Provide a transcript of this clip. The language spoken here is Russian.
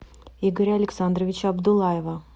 игоря александровича абдуллаева